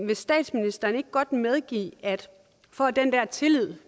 vil statsministeren ikke godt medgive at for at den her tillid